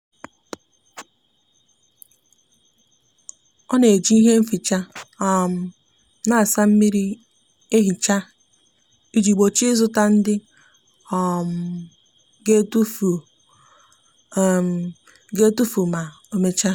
o n'eji ihe nficha um a n'asa mmiri ehicha iji gbochie izuta ndi o um g'etufi o um g'etufi ma omecha